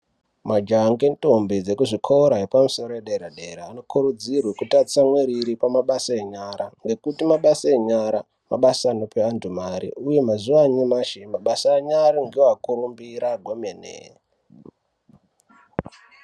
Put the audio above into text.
Majaha ngendondi ekuzvikora zvepamusoro edera-dera anokurudzirwa kuti atsamwirire pamabasa enyara. Nekuti mabasa enyara ndivo anope vantu mari, uye mazuva anyamashi mabasa enyara ndivo akurumbira hwemene.